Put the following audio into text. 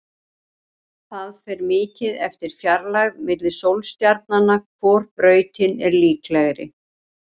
Það fer mikið eftir fjarlægð milli sólstjarnanna hvor brautin er líklegri.